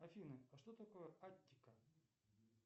афина а что такое аттика